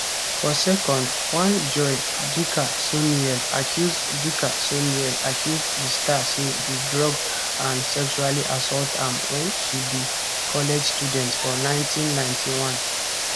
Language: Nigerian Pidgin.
for second one joi dickersonneal accuse dickersonneal accuse di star say e drug and sexually assault am wen she be college student for 1991